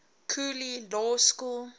cooley law school